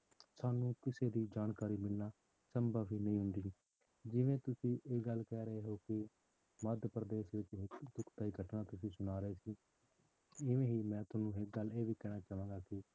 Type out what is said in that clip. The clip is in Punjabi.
ਸਾਨੂੰ ਕਿਸੇ ਦੀ ਜਾਣਕਾਰੀ ਮਿਲਣਾ ਸੰਭਵ ਹੀ ਨਹੀਂ ਹੁੰਦੀ, ਜਿਵੇਂ ਤੁਸੀਂ ਇਹ ਗੱਲ ਕਹਿ ਰਹੇ ਹੋ ਕਿ ਮੱਧ ਪ੍ਰਦੇਸ਼ ਵਿੱਚ ਦੀ ਦੁਖਦਾਈ ਘਟਨਾ ਤੁਸੀਂ ਸੁਣਾ ਰਹੇ ਸੀ ਇਵੇਂ ਹੀ ਮੈਂ ਤੁਹਾਨੂੰ ਇੱਕ ਗੱਲ ਇਹ ਵੀ ਕਹਿਣਾ ਚਾਹਾਂਗਾ ਕਿ